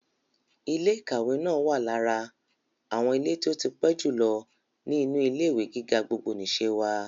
Ilé ìkàwé náà wà lára àwọn ilé tí ó tí pẹ́ jù lọ ní inú ilé-ìwé gíga gbogbonìse wa.